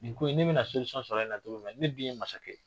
Nin ko ne bɛna sɔrɔ nin na cogo jumɛn ne dun ye masakɛ ye